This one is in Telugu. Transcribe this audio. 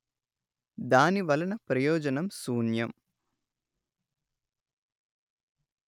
దాని వలన ప్రయోజనం శూన్యం